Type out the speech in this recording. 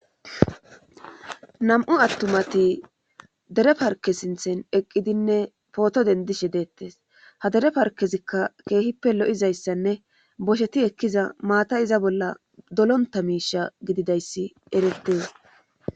nam7u attumati dere parke sinthen eqqidinne pooto dendishe deettes ha dere parkezikka keehippe lo7izayssanne bosheti ekkiza maata iza bolla dolonta miisha gididayssi erettees